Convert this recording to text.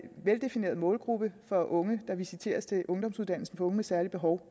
veldefineret målgruppe for unge der visiteres til ungdomsuddannelsen for unge med særlige behov